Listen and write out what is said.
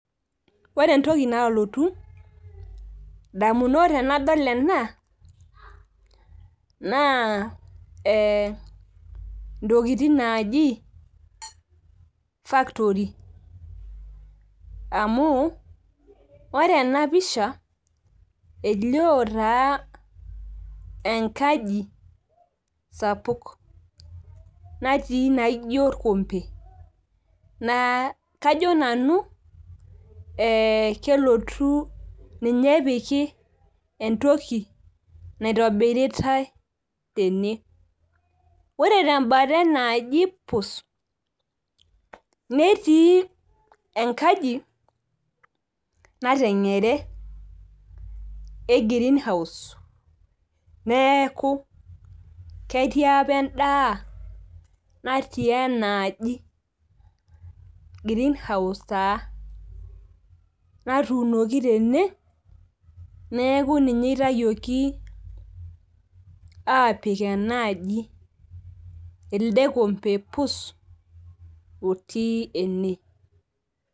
ore entoki naalotu idamunot naa intokitin naaaji factory amu ore ena pisha elio taa engaji sapuk natii naijo orkompe naa kajo nanu ineepiki entoki naitobiritae tene , ore tebata enaaji pus neetii engaji nateng'ere, egreen house, neeku ketii apa edaa natii enaaji green house taa natuunoki tene neeku ninye itayioki, apik enaaji elde kompe pus apik ene.